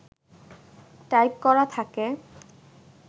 type করা থাকে